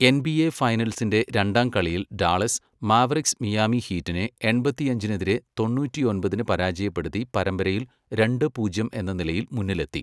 NBA ഫൈനൽസിന്റെ രണ്ടാം കളിയിൽ ഡാളസ് മാവെറിക്സ് മിയാമി ഹീറ്റിനെ എൺപത്തിയഞ്ചിനെതിരെ തൊണ്ണൂറ്റിയൊമ്പതിന് പരാജയപ്പെടുത്തി പരമ്പരയിൽ രണ്ട്, പൂജ്യം എന്ന നിലയിൽ മുന്നിലെത്തി.